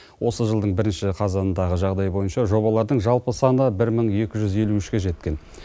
осы жылдың бірінші қазанындағы жағдай бойынша жобалардың жалпы саны бір мың екі жүз елу үшке жеткен